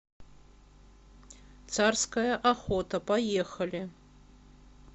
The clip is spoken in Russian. царская охота поехали